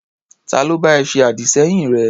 Ta ló bá ẹ ṣe àdì-sẹ́yìn rẹ?